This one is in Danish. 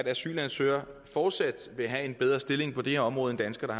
asylansøgere fortsat vil have en bedre stilling på det her område end danskere